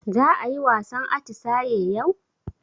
Za ayi wasan atisaye yau?